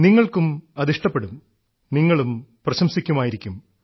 നിങ്ങൾക്കും അത് ഇഷ്ടപ്പെടും നിങ്ങളും പ്രശംസിക്കുമായിരിക്കും